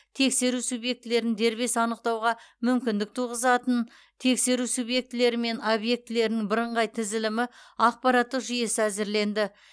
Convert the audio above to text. тексеру субъектілерін дербес анықтауға мүмкіндік туғызатынтексеру субъектілері мен объектілерінің бірыңғай тізілімі ақпараттық жүйесі әзірленді